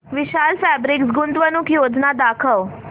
विशाल fabrics गुंतवणूक योजना दाखव